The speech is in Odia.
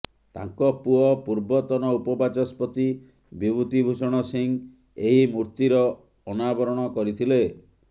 ତାଙ୍କ ପୁଅ ପୂର୍ବତନ ଉପ ବାଚସ୍ପତି ବିଭୂତି ଭୂଷଣ ସିଂହ ଏହି ମୂର୍ତ୍ତିର ଅନାବରଣ କରିଥିଲେ